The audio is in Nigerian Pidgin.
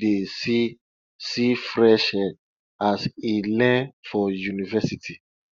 dey see see fresh air as e learn for university